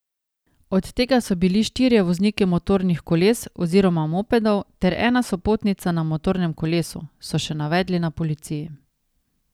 Od tega so bili štirje vozniki motornih koles oziroma mopedov ter ena sopotnica na motornem kolesu, so še navedli na policiji.